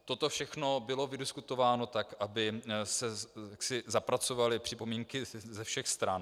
Toto všechno bylo vydiskutováno tak, aby se zapracovaly připomínky ze všech stran.